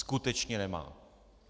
Skutečně nemá.